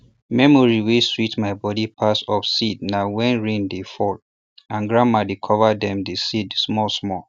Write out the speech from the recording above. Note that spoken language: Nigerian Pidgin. memory wey sweet my body pass of seed na when rain dey fall and grandma dey cover dem the seed small small